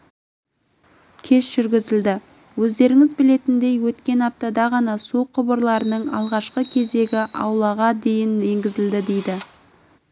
кеш жүргізілді өздеріңіз білетіндей өткен аптада ғана су құбырларының алғашқы кезегі аулаға дейін енгізілді дейді